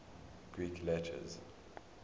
greek letters